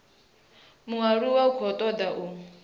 mualuwa u khou toda u